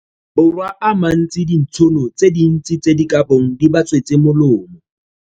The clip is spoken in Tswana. Borwa a mantsi dintšhono tse dintsi tse di ka bong di ba tswetse molemo.